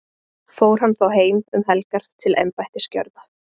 Fór hann þá heim um helgar til embættisgjörða.